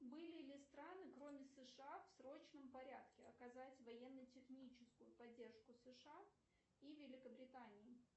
были ли страны кроме сша в срочном порядке оказать военно техническую поддержку сша и великобритании